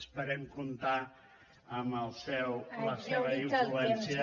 esperem comptar amb la seva influència